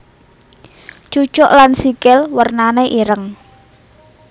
Cucuk lan sikil wernané ireng